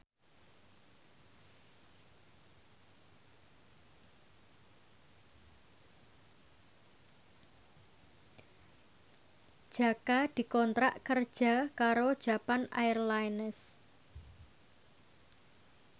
Jaka dikontrak kerja karo Japan Airlines